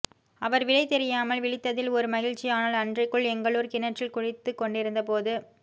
அவர் விடை தெரியாமால் விழித்ததில் ஒரு மகிழ்ச்சி ஆனால் அன்றைக்கு எங்களூர் கிணற்றில் குளித்துக் கொண்டிருந்த போது